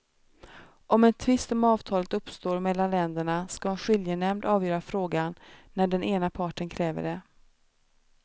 Om en tvist om avtalet uppstår mellan länderna ska en skiljenämnd avgöra frågan när den ena parten kräver det.